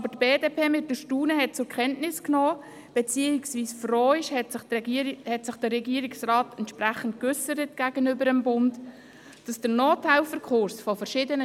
Die BDP hat mit Erstaunen zur Kenntnis genommen, dass der Nothelferkurs von verschiedenen Strassenverkehrsämtern als unwichtig erachtet wird und deshalb abgeschafft werden soll.